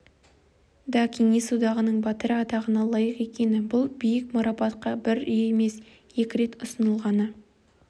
да кеңес одағының батыры атағына лайық екені бұл биік марапатқа бір емес екі рет ұсынылғаны